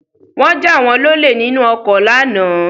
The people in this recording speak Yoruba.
Wọ́n jà wọ́n lọlé nínú ọkọ lánàá